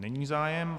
Není zájem.